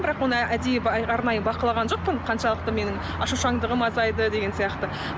бірақ оны әдейі арнайы бақылаған жоқпын қаншалықты менің ашушаңдығым азайды деген сияқты